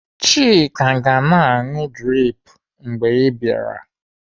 Chika ga-na anụ drip mgbe ị bịara.